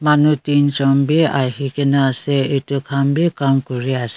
manu teenjon bi ahikaena ase edu khan bi Kam kuriase.